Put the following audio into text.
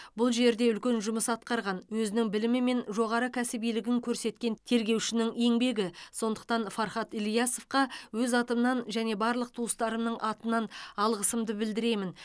бұл жерде үлкен жұмыс атқарған өзінің білімі мен жоғары кәсібилігін көрсеткен тергеушінің еңбегі сондықтан фархат ілиясовқа өз атымнан және барлық туыстарымның атынан алғысымды білдіремін